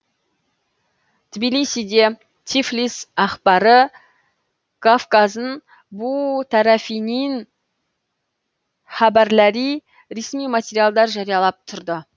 тбилисиде тифлис әхбары гафгазын бу тәрәфинин хәбәрләри ресми материалдар жариялап тұрды